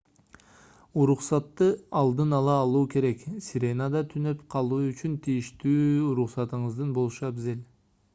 уруксатты алдын ала алуу керек сиренада түнөп калуу үчүн тийиштүү уруксатыңыздын болушу абзел